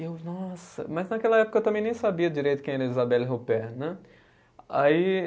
E eu, nossa, mas naquela época eu também nem sabia direito quem era Isabelle Ruppert, né? Aí